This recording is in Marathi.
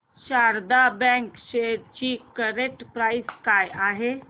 शारदा बँक शेअर्स ची करंट प्राइस काय आहे